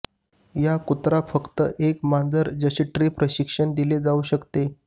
या कुत्रा फक्त एक मांजर जसे ट्रे प्रशिक्षण दिले जाऊ शकते